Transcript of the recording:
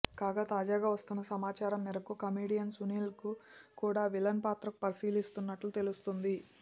కాగా తాజాగా వస్తోన్న సమాచారం మేరకు కమెడియన్ సునీల్ను కూడా విలన్ పాత్రకు పరిశీలిస్తున్నట్లు తెలుస్తోంది